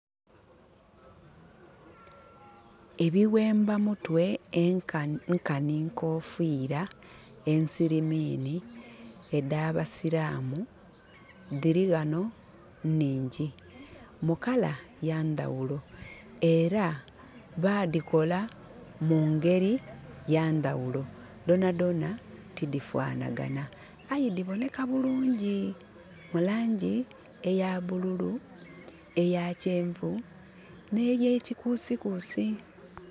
Ebighemba mutwe, nkanhi nkofiira. Ensirimiini edh'absiraamu, dhili ghano nhingyi, mu colour ya ndhaghulo. Era baadhikola mu ngeri ya ndhaghulo. Dhona dhona tidhifanagana aye dhiboneka bulungi, mu laangi eya bululu, eya kyenvu, n'eyekikuusikuusi.